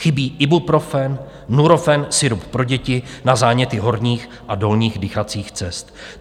Chybí Ibuprofen, Nurofen, sirup pro děti na záněty horních a dolních dýchacích cest.